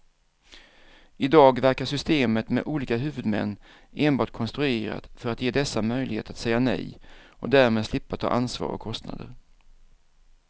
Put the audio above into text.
I dag verkar systemet med olika huvudmän enbart konstruerat för att ge dessa möjlighet att säga nej och därmed slippa ta ansvar och kostnader.